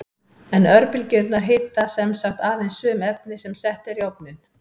En örbylgjurnar hita sem sagt aðeins sum efni sem sett eru í ofninn.